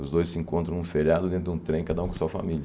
Os dois se encontram num feriado dentro de um trem, cada um com a sua família.